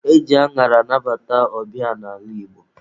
E ji añara anabata ọbịa n'ala Igbo.